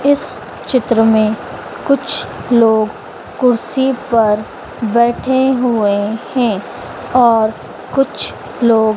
इस चित्र में कुछ लोग कुर्सी पर बैठे हुए हैं और कुछ लोग--